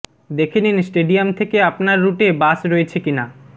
দেখে নিন স্টেডিয়াম থেকে আপনার রুটে বাস রয়েছে কিনা